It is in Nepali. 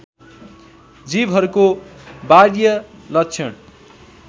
जीवहरूको बाह्य लक्षण